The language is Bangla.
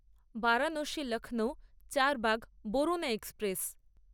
বারাণসী লক্ষ্নৌ চারবাগ বরুনা এক্সপ্রেস